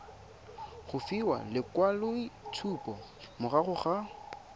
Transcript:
go fiwa lekwaloitshupo morago ga